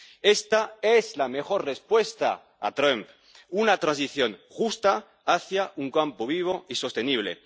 Esta es la mejor respuesta a Trump una transición justa hacia un campo vivo y sostenible.